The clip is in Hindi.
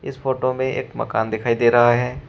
इस फोटो में एक मकान दिखाई दे रहा है।